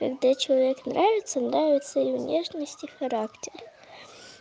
когда человек нравится нравится и внешность и характер